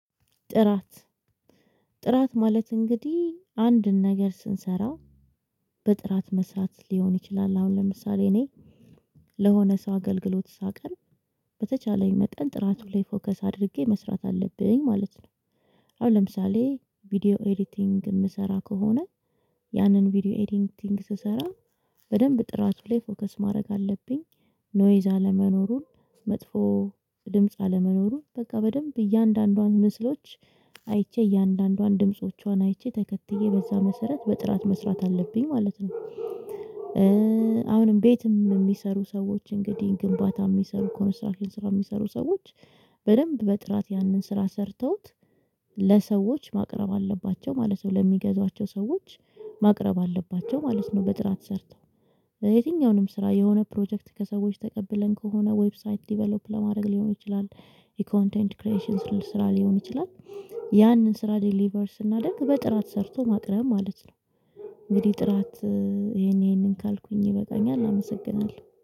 ጥራት ጥራት ማለት እንግዲህ አንድን ነገር ስንሰራ በጥራት መስራት ሊሆን ይችላል አሁን ለምሳሌ እኔ ለሆነ ሰው አገልግሎት ሳቀርብ በተቻለኝ መጠን ጥራቱ ላይ ፎከስ አድርጌ መስራት አለብኝ ማለት ነው። አሁን ለምሳሌ ቪዲዮ ኤዲቲንግ የምሰራ ከሆነ ያንን ቪዲዮ ኤዲቲንግ ስሰራ በደንብ ጥራቱ ላይ ፎከስ ማረግ አለብኝ ኖይዝ አለመኖሩን መጥፎ ድምጽ አለመኖሩን በቃ በደንብ እያንዳንዷን ምስሎች አይቼ እያንዳንዷን ድምጾቿን አይቼ ተከትዬ በዛ መሰረት በጥራት መስራት አለብኝ ማለት ነው። አሁንም ቤትም የሚሰሩ ሰዎች እንግዲህ ግንባታ የሚሰሩ ኮንስትራክሽን ስራ የሚሰሩ ሰዎች በደንብ በጥራት ያንን ስራ ሰርተው ለሰዎች ማቅረብ አለባቸው ማለት ነው ለሚገዟቸው ሰዎች ማቅረብ አለባቸው ማለት ነው። በጥራት ሰርተው በየትኛውንም ስራ የሆነ ፕሮጀክት ከሰዎች ተቀብለን ከሆነ ዌብሳይት ዴቨሎፕ ለማድረግ ሊሆን ይችላል የኮንቴንት ክሬሽን ስራ ሊሆን ይችላል ያንን ስራ ዴሊቨር ስናደርግ በጥራት ሰርቶ ማቅረብ ማለት ነው። እንግዲህ ጥራት ይሄን ይሄንን ካልኩኝ ይበቃኛል አመሰግናለሁ።